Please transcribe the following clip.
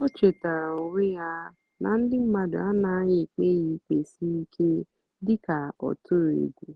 ó chétáárá ónwé yá nà ndí mmádụ́ ánàghị́ ékpé yá íkpé sírí íké dị́ká ọ́ tụ̀rụ̀ égwù.